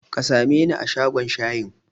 Ka sameni a shagon shayin?